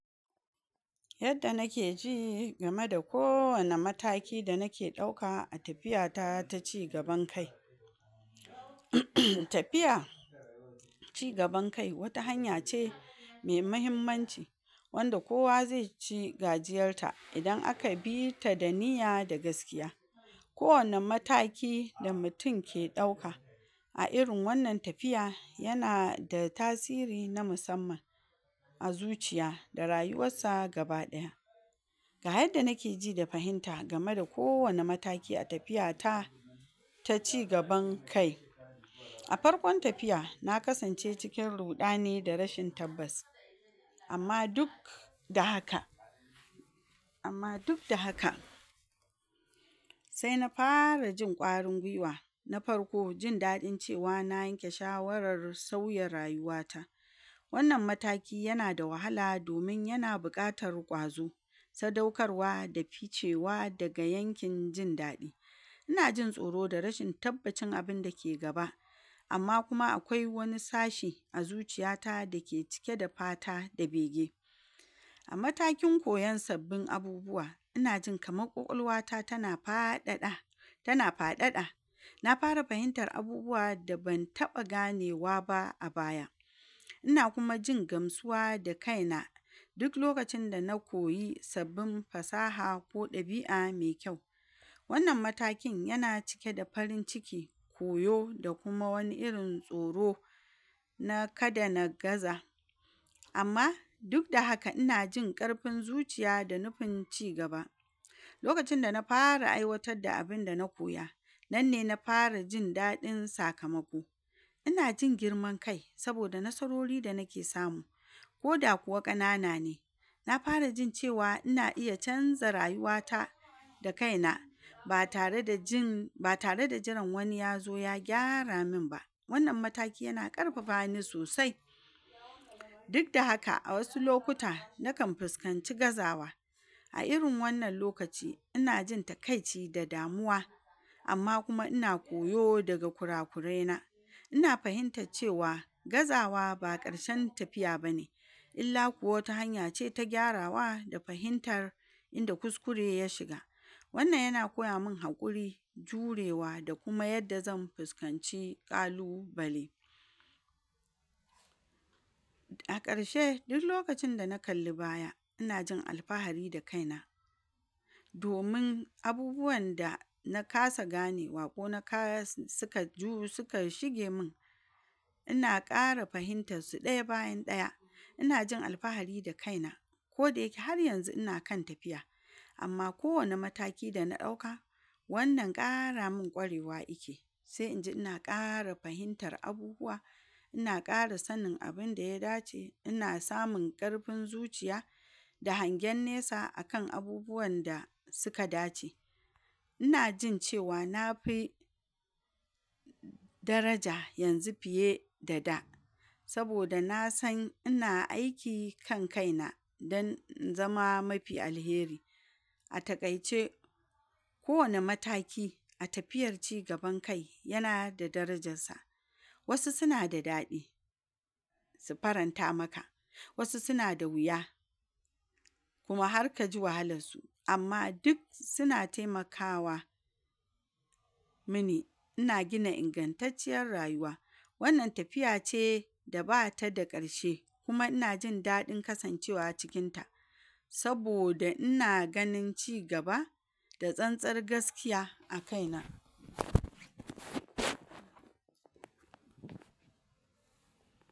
Yadda nake ji game da kowane mataki da nake ɗauka a tafiyata ta cigaban, um tafiya cigaban kai wata hanya ce me mahimmanci wanda kowa ze ci gajiyarta idan aka bita da niya da gaskiya, kowane mataki da mutin ke ɗauaka a irin wannan tafiya yana da tasiri na musamman a zuciya da rayuwassa gaba ɗaya, ga yadda nake ji da fahimta game da kowane mataki a tafiyata ta cigaban kai, a farkon tafiya na kasance cikin ruɗani da rashin tabbas, amma duk da haka amma duk da haka se na fara jin ƙwarin gwiwa. Na farko: Jin daɗin cewa na yanke shawarar sauya rayuwata, wannan mataki yana da wahala domin yana buƙar ƙwazo, sadaukarwa da ficewa daga yankin jin daɗi, ina jin tsoro da rashin tabbacin abinda ke gaba; amma kuma akwai wani sashe a zuciyata da ke cike da fata da bege, a matakin koyon sabbin abubuwa ina jin kama ƙwaƙwalwata tana faɗaɗa tana faɗaɗa na fara fahimtar abubuwa da ban taɓa ganewa ba a baya, ina kuma jin gamsuwa da kaina, duk lakacin da na koyi sabbin fasaha ko ɗabi'a me kyau, wannan matakin yana cike da farin cikki koyo da kuma wani irin tsoro na kada na gaza, amma duk da haka inaji ƙarfin zuciya da nufin cigaba lokacin da nara aiwatadda abinda na koya nan ne na fara jin daɗin sakamako, ina jin girman kai saboda nasarori da nake samu koda kuwa ƙanana ne, na fara jin cewa ina iya canza rayuwata da kaina ba tare da jin... ba tare da jiran wani yazo ya gyara min ba, wannan mataki yana ƙarfafa ni sosai, dik da haka a wasu lokuta nakan fiskanci gazawa, a irin wannan lokaci ina jin takaici da damuwa, amma kuma ina koyo daga kurakuraina, ina fahintac cewa gazawa ba ƙarshen tafiya bane illa kuwa wata hanya ce ta gyarawa da fahintar inda kuskure ya shiga, wannan yana koya min haƙuri, jurewa da kuma yadda zan fiskanci ƙalubale. A ƙarshe dullokacin da na kalli baya ina jin alfahari da kaina, domin abubuwanda na kasa ganewa ko na kasa sika ju sika shige min ina ƙara fahintas su ɗaya bayan ɗaya ina jin alfahari da kaina, kodayake har yanzu ina kan tafiya, amma kowane mataki da na ɗauka, wannan ƙara min ƙwarewa ike se inji ina ƙara fahinta abubuwa ina ƙara sanin abinda ya dace, ina samun ƙarfin zuciya da hangen nesa akan abubuwanda sika dace, ina jin cewa nafi daraja yanzu fiye da da, saboda na san ina aiki kan kaina dan in zama mafi alheri. A taƙaice kowane mataki a tafiyar cigaban kai yana da darajassa, wasu sina da daɗi si faranta maka, wasu sina da wiya kuma har kaji wahalarsu, amma dik sina taimakawa mini ina gina ingantacciyar rayuwa, wannan tafiya ce da bata da ƙarshe, kuma ina jin daɗin kasancewa cikinta, saboda ina ganin cigaba da tsantsar gaskiya a kaina